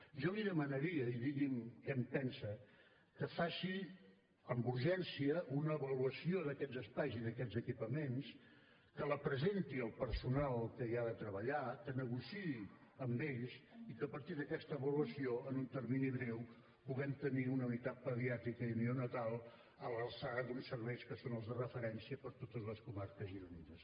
jo li demanaria i digui’m què en pensa que faci amb urgència una avaluació d’aquests espais i d’aquests equipaments que la presenti al personal que hi ha de treballar que negociï amb ells i que a partir d’aquesta avaluació en un termini breu puguem tenir una unitat pediàtrica i neonatal a l’alçada d’uns serveis que són els de referència per a totes les comarques gironines